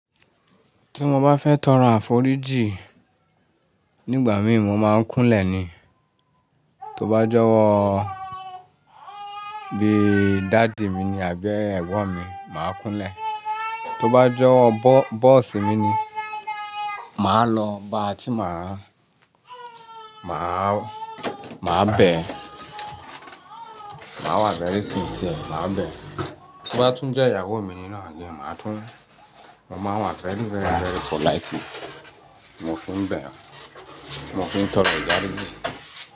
Tí mo bá fẹ́ tọrọ àforíjì nígbà mìíràn mo máa ń kúnlẹ̀ ni, tó bá jọ́wọ́ bí i daddy mi ni àbí ẹgbọn mi máa ń kúnlẹ̀, tó bá jẹ́ bọ́ọ̀sì mi ni máa lọ ba tí màá, máa bẹ̀, máa wà very sincere máa bẹ̀, tó bá tún jẹ́ ìyàwó mi ní náa ní maa tun máa wà very very very politely ni mo fi ń bẹ̀, mo fi ń tọrọ ìdáríjìn.